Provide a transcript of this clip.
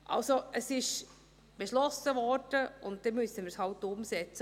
Also: Es wurde beschlossen, und dann müssen wir es halt umsetzen.